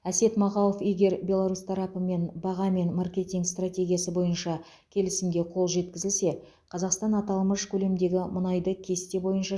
әсет мағауов егер беларусь тарапымен баға мен маркетинг стратегиясы бойынша келісімге қол жеткізілсе қазақстан аталмыш көлемдегі мұнайды кесте бойынша